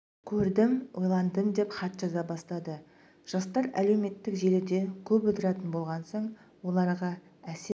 көрдім ойландым деп хат жаза бастады жастар әлеуметтік желіде көп отыратын болған соң оларға әсер